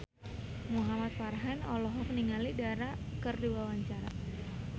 Muhamad Farhan olohok ningali Dara keur diwawancara